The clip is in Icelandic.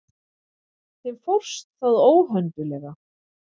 Þeim fórst það óhönduglega.